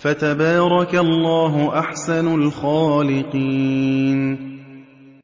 فَتَبَارَكَ اللَّهُ أَحْسَنُ الْخَالِقِينَ